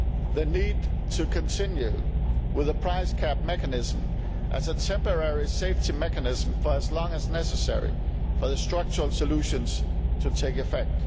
the need to continue with a price cap mechanism as a temporary safety mechanism for as long as is necessary for the structural solutions to take effect